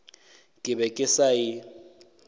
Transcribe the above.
ke be ke sa e